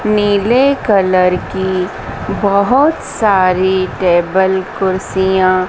नीले कलर की बहुत सारी टेबल कुर्सियां--